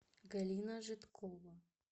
галина жидкова